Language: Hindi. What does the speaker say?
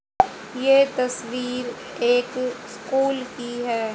ये तस्वीर एक स्कूल की है।